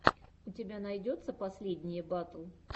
у тебя найдется последние батл